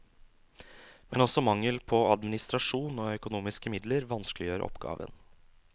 Men også mangel på administrasjon og økonomiske midler vanskeliggjør oppgaven.